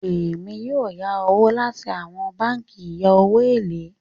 Èmi yóò yá owo láti awọn bánkì ìya owo ilé.